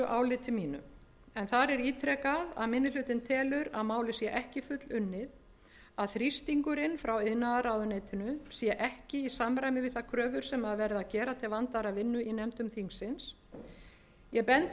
áliti mínu en þar er ítrekað að minni hlutinn telur að málið sé ekki fullunnið að þrýstingurinn frá iðnaðarráðuneytinu sé ekki í samræmi við þær kröfur sem verið er að gera til vandaðrar vinnu í nefndum þingsins ég bendi á